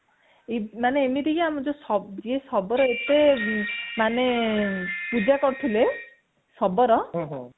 ମାନେ ଏମିତି କି ଯିଏ ଯିଏ ଶବର ଏତେ ମାନେ ଏତେ ପୂଜା କରୁଥିଲେ ଶବର